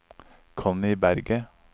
Connie Berget